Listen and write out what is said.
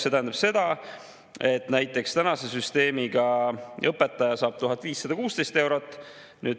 See tähendab seda, et näiteks tänase süsteemiga saab õpetaja 1516 eurot.